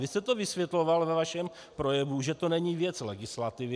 Vy jste to vysvětloval ve svém projevu, že to není věc legislativy.